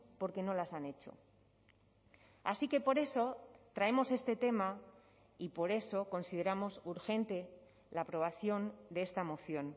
porque no las han hecho así que por eso traemos este tema y por eso consideramos urgente la aprobación de esta moción